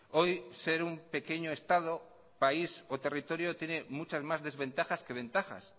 hoy ser un pequeño estado país o territorio tiene muchas más desventajas que ventajas